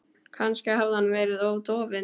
Kannski hafði hann verið of dofinn.